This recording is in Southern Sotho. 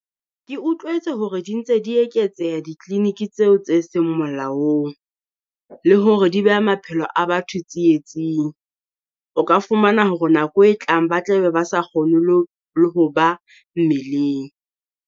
Ke utlwetse hore di ntse di eketseha di-clinic tseo tse seng molaong, le hore di beha maphelo a batho tsietsing. O ka fumana hore nako e tlang ba tla be ba sa kgone lo le ho ba mmeleng.